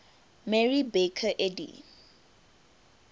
mary baker eddy